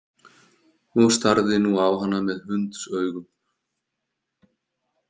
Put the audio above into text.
Og starði nú á hana með hundsaugum.